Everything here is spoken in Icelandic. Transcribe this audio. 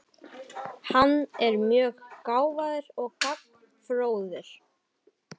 Hann er mjög gáfaður og gagnfróður.